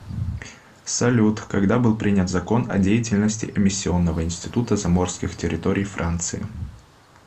салют когда был принят закон о деятельности эмиссионного института заморских территорий франции